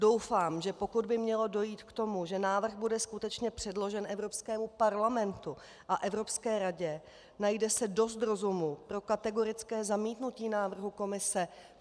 Doufám, že pokud by mělo dojít k tomu, že návrh bude skutečně předložen Evropskému parlamentu a Evropské radě, najde se dost rozumu pro kategorické zamítnutí návrhu Komise.